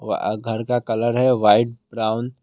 व अ घर का कलर है व्हाइट ब्राउन ।